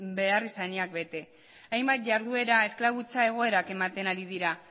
beharrizanak bete hainbat jarduera esklabutza egoerak ematen ari dira